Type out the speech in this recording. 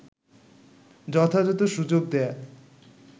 যথাযথ সুযোগ দেয়া